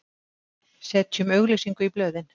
Setjum auglýsingu í blöðin!